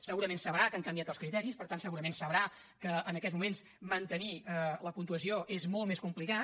segurament sabrà que han canviat els criteris per tant segurament sabrà que en aquests moments mantenir la puntuació és molt més complicat